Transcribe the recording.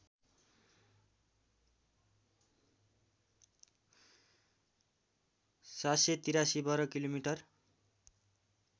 ७८३ वर्ग किलोमिटर